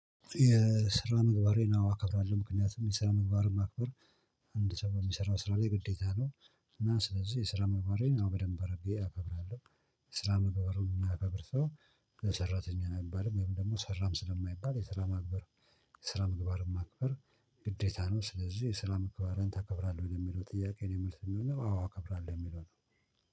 የስራ ምግባሬን አከብራለሁ። ምክንያቱም የስራ ምግባርን ማክበር አንድ ሰው በሚሰራው ስራ ላይ ግዴታ ነው እና ስለዚህ የስራ ምግባሬን አወ በደንብ አርጌ አከብራለሁ የስራ ምግባሩን የማያከብር ሰው ሰራተኛ አይባልም ወይም ደግሞ ሰራም ስለማይባል የስራ ማክበር የስራ ምግባርን ማክበር ግዴታ ነው ስለዚህ የስራ ምግባህርን ታከብራለህ? የሚለው ጥያቄ የኔ የምልስ የሚሆነው አዎ አከብራለሁ የሚለው ነው